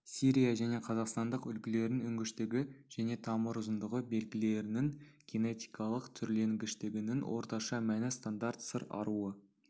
сирия және қазақстандық үлгілердің өнгіштігі және тамыр ұзындығы белгілерінің генетикалық түрленгіштігінің орташа мәні стандарт сыр аруы